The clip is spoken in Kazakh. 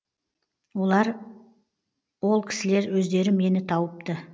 олар ол кісілер өздері мені тауыпты